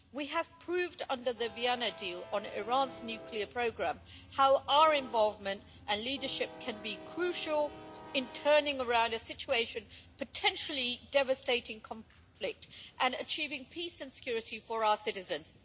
We have proved under the Vienna deal on Iran's nuclear programme how our involvement and leadership can be crucial in turning around a situation of potentially devastating conflict and achieving peace and security for our citizens.